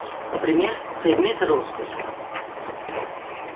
например предметы роскоши